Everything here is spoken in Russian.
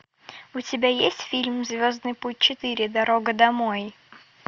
у тебя есть фильм звездный путь четыре дорога домой